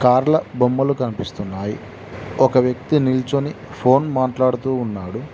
కార్ల బొమ్మలు కనిపిస్తున్నాయి ఒక వ్యక్తి నిల్చుని ఫోన్ మాట్లాడుతూ ఉన్నాడు.